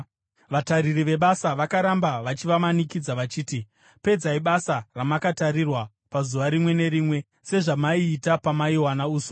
Vatariri vebasa vakaramba vachivamanikidza vachiti, “Pedzai basa ramakatarirwa pazuva rimwe nerimwe, sezvamaiita pamaiwana uswa.”